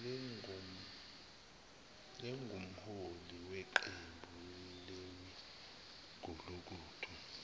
lingumholi weqembu lemigulukudu